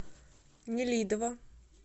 нелидово